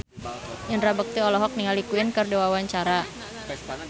Indra Bekti olohok ningali Queen keur diwawancara